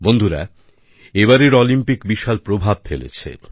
বন্ধুরা এবারের অলিম্পিক বিশাল প্রভাব ফেলেছে